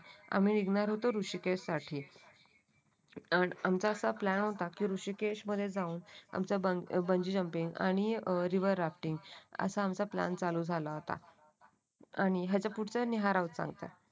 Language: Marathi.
आम्ही निघणार होतो ऋषिकेश साठी अमचा असा प्लॅन होता की ऋषिकेश मध्ये जाऊन आमच्या बंजू चॅम्पियन आणि हे बघ रिव्हर एक्टिंग असा आमचा प्लॅन चालू झाला होता. आणि याच्या पुढचं निहार सांगता